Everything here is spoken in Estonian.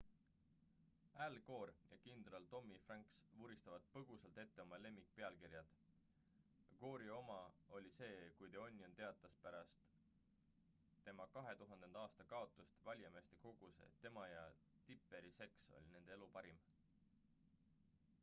al gore ja kindral tommy franks vuristavad põgusalt ette oma lemmikpealkirjad gore’i oma oli see kui the onion teatas pärast tema 2000. aasta kaotust valijameeste kogus et tema ja tipperi seks oli nende elu parim